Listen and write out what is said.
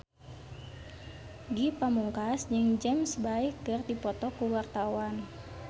Ge Pamungkas jeung James Bay keur dipoto ku wartawan